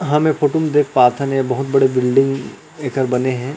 हम ए फोटु म देख पाथन ए बहुत बड़े बिल्डिंग एकर बने हे।